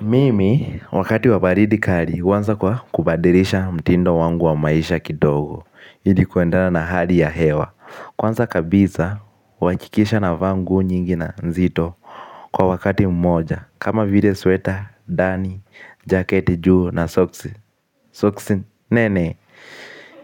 Mimi, wakati wa baridi kali, huanza kwa kubadilisha mtindo wangu wa maisha kidogo. Ili kuendana na hali ya hewa. Kwanza kabisa, huakikisha navaa nguo nyingi na nzito kwa wakati mmoja. Kama vile sweater ndani, jaketi juu na socks nene.